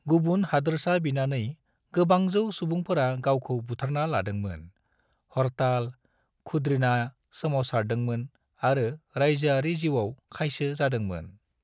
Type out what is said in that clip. गुबुन हादोरसा बिनानै गोबांजौ सुबुंफोरा गावखौ बुथारना लादोंमोन, हरताल, खुद्रिना सोमावसारदोंमोन आरो रायजोआरि जिउआव खायसो जादोंमोन ।